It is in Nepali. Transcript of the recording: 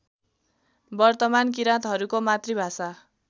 वर्तमान किराँतहरूको मातृभाषा